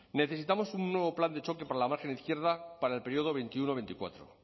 necesitamos un nuevo plan de choque para la margen izquierda para el periodo veintiuno veinticuatro